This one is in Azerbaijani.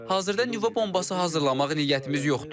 Hazırda nüvə bombası hazırlamaq niyyətimiz yoxdur.